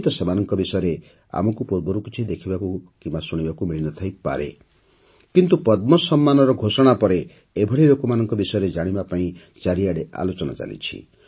ହୁଏତ ସେମାନଙ୍କ ବିଷୟରେ ଆମକୁ ପୂର୍ବରୁ କିଛି ଦେଖିବାକୁ କିମ୍ବା ଶୁଣିବାକୁ ମିଳି ନ ଥାଇ ପାରେ କିନ୍ତୁ ପଦ୍ମ ସମ୍ମାନର ଘୋଷଣା ପରେ ଏଭଳି ଲୋକମାନଙ୍କ ବିଷୟରେ ଚାରିଆଡ଼େ ଆଲୋଚନା ଚାଲିଛି